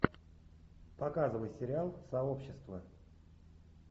показывай сериал сообщество